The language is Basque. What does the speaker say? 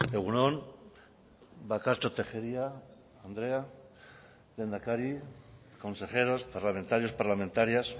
egun on bakartxo tejeria andrea lehendakari consejeros parlamentarios parlamentarias